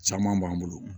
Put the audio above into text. Caman b'an bolo